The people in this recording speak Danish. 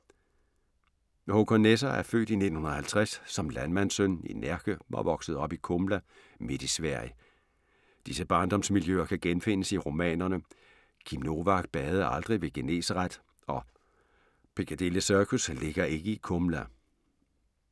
Håkan Nesser er født i 1950 som landmandssøn i Närke og voksede op i Kumla, midt i Sverige. Disse barndomsmiljøer kan genfindes i romanerne "Kim Novak badede aldrig ved Genesaret" og "Og Picadilly Circus ligger ikke i Kumla".